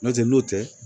N'o tɛ n'o tɛ